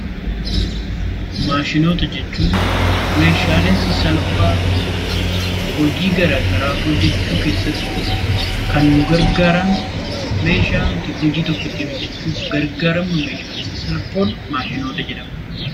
Maashinoota jechuun meeshaalee sasalphaa hojii gara garaa hojjechuu keessatti kan nu gargaaran meeshaa nuti hojii tokko ittiin hojjechuuf gargaaramnu, meeshaalee sasalphoon Maashinoota jedhamu.